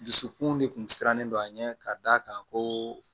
Dusukun de kun sirannen don an ɲɛ ka d'a kan koo